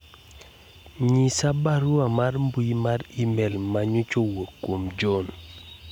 nyis barua mar mbui mar email manyocha kowuok kuom John